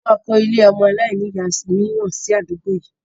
A máa kọ ilé ọmọ aláìníya miran si àdúgbò yìí